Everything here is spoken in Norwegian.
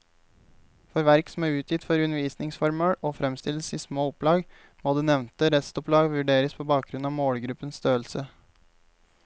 For verk som er utgitt for undervisningsformål og fremstilles i små opplag, må det nevnte restopplag vurderes på bakgrunn av målgruppens størrelse.